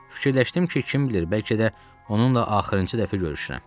Fikirləşdim ki, kim bilir bəlkə də onunla axırıncı dəfə görüşürəm.